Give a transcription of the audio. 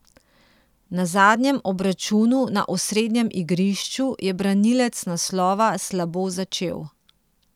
Na zadnjem obračunu na osrednjem igrišču je branilec naslova slabo začel.